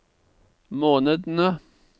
månedene